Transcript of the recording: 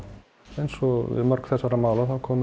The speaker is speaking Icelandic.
eins og með mörg þessara mála þá kom